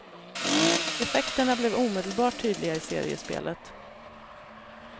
Effekterna blev omedelbart tydliga i seriespelet.